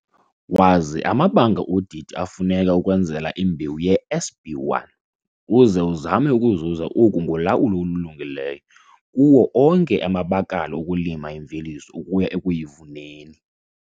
Wazi amabanga odidi afuneka ukwenzela imbewu yeSB1 uze uzame ukuzuza oku ngolawulo olulungileyo kuwo onke amabakala okulima imveliso ukuya ekuyivuneni